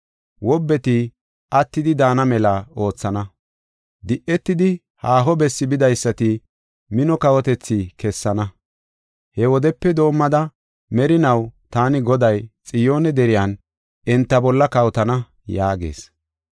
Wobbeti attidi daana mela oothana; di7etidi haaho bessi bidaysata mino kawotethi kessana. He wodepe doomada merinaw taani Goday, Xiyoone deriyan enta bolla kawotana” yaagees.